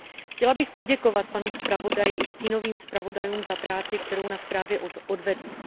Chtěla bych poděkovat panu zpravodaji i stínovým zpravodajům za práci, kterou na zprávě odvedli.